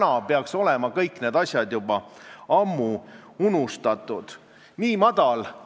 Aga kui mees, kes tuleb sulle füüsiliselt kallale, väidab, et ta teeb seda puhtast armastusest, siis sind on petetud, alatult petetud.